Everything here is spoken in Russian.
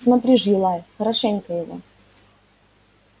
смотри ж юлай хорошенько его